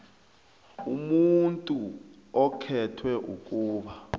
umuntu okhethwe ukuba